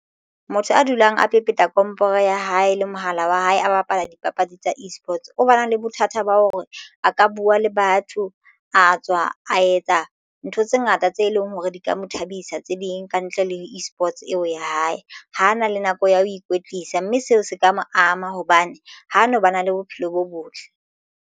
Motho a dulang a pepeta komporo ya hae le mohala wa hae a bapala dipapadi tsa eSports o ba nang le bothata ba hore a ka buwa le batho a tswa a etsa ntho tse ngata tse leng hore di ka mo thabisa tse ding ka ntle le eSports eo ya hae. Ho na le nako ya ho ikwetlisa mme seo se ka mo ama hobane ho no ba na le bophelo bo botle.